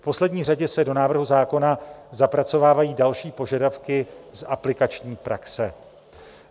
V poslední řadě se do návrhu zákona zapracovávají další požadavky z aplikační praxe.